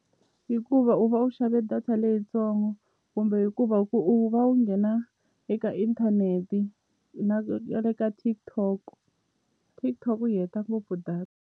Hikuva u va u xave data leyintsongo kumbe hikuva ku u va u nghena eka inthanete na le ka TikTok TikTok yi heta ngopfu data.